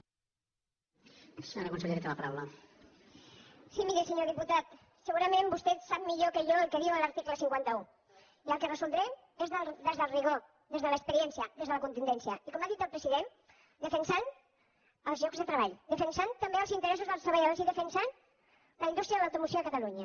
sí miri senyor diputat segurament vostè sap millor que jo el que diu l’article cinquanta un i el que resoldrem és des del rigor des de l’experiència des de la contundència i com ha dit el president defensant els llocs de treball defensant també els interessos dels treballadors i defensant la indústria de l’automoció a catalunya